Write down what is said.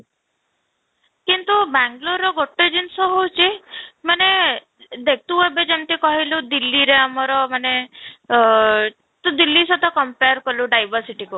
କିନ୍ତୁ ବାଙ୍ଗାଲୁରର ଗୋଟେ ଜିନିଷ ହେଉଛି ମାନେ ଦେଖ ତୁ ଏବେ ଯେମିତି କହିଲୁ ଦିଲ୍ଲୀରେ ଆମର ମାନେ ଆଃ ତୁ ଦିଲ୍ଲୀ ସହିତ compare କଲୁ diversity କୁ